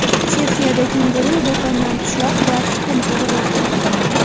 Chexiyada kenguru do‘kondan pishloq va tuxum o‘g‘irladi.